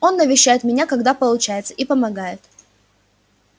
он навещает меня когда получается и помогает